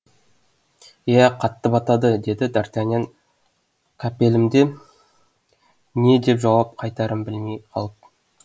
иә қатты батады деді дартаньян қапелімде не деп жауап қатарын білмей қалып